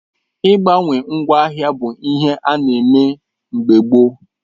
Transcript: Ị gbawe ngwa ahia bụ ihe ana eme mgbe gboo